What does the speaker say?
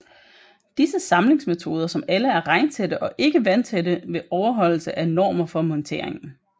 Disse samlingsmetoder som alle er regntætte og ikke vandtætte ved overholdelse af normer for monteringen